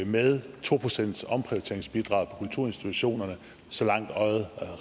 med to procentsomprioriteringsbidraget på kulturinstitutionerne så langt øjet